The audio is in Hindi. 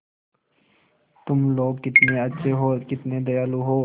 तुम लोग कितने अच्छे हो कितने दयालु हो